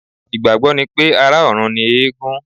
Ìgbàgbọ́ ni pé, ará-ọ̀run ni eégún